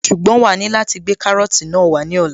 Ṣùgbọ́n wàá ní láti gbé kárọ́tì náà wá ní ọ̀la